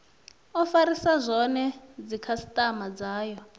o farisa zwone dzikhasitama dzayo